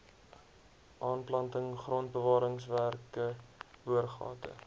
aanplanting grondbewaringswerke boorgate